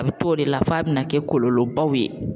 A bɛ t'o de la f'a bɛna kɛ kɔlɔlɔbaw ye